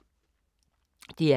DR K